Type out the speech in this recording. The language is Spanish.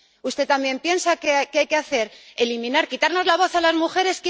¿Usted también piensa que hay que eliminar, quitarnos la voz a las mujeres?